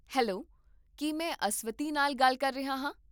Hello, ਕੀ ਮੈਂ ਅਸਵਤੀ ਨਾਲ ਗੱਲ ਕਰ ਰਿਹਾ ਹਾਂ?